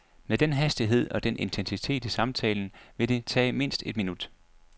Med den hastighed og den intensitet i samtalen, ville det tage dem mindst et minut.